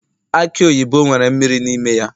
aki oyibo nwere mmiri n'ime ya